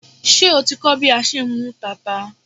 Ṣé o ti ń kọ́ bí a ṣe ń mú tata?